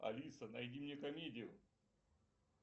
алиса найди мне комедию